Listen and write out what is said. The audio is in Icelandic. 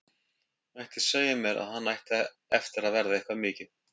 Mætti segja mér að hann ætti eftir að verða eitthvað mikið.